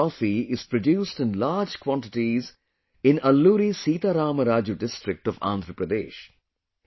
Araku coffee is produced in large quantities in Alluri Sita Rama Raju district of Andhra Pradesh